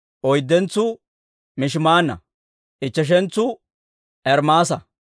oyddentsuu Mishimaanna; ichcheshentsu Ermaasa;